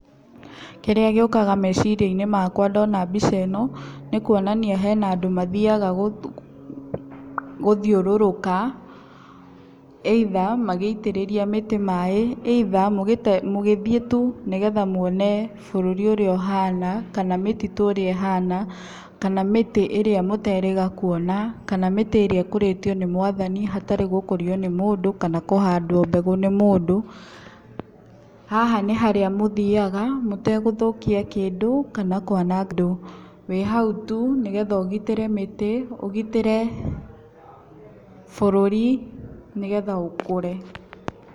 Kĩrĩa gĩũkaga meciaria-inĩ makwa ndona mbica ĩno nĩ kuonania hena andũ mathiaga gũthiũrũrũka either magĩitĩrĩria mĩtĩ maaĩ, either magĩthĩ tu nĩ getha muone bũrũri ũrĩa ũhana kana mĩtitũ ũrĩa ĩhana kana mĩtĩ ĩrĩa mũterĩga kuona kana mĩtĩ ĩrĩa ĩkũrĩtio nĩ mwathani hatarĩ gũkũrio nĩ mũndũ kana kũhandwo mbegu nĩ mũndũ. Haha nĩ harĩa mũthiaga mũtegũthũkia kĩndũ kana kwananga, wĩ hau tu nĩ getha ũgitĩre mĩtĩ ũgitĩre bũrũri nĩ getha ũkũre.